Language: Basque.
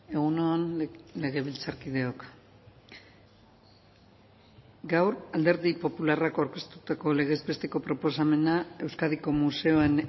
egun on legebiltzarkideok gaur alderdi popularrak aurkeztutako legez besteko proposamena euskadiko museoen